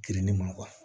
Girinni ma